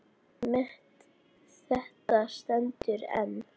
Met þetta stendur enn.